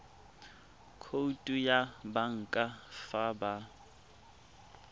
khoutu ya banka fa ba